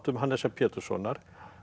Hannesar Péturssonar